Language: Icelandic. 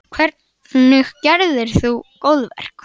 Karen: Hvernig gerðir þú góðverk?